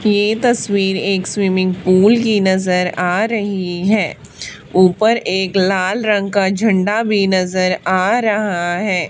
ये तस्वीर एक स्विमिंग पूल की नजर आ रही है ऊपर एक लाल रंग का झंडा भी नजर आ रहा है।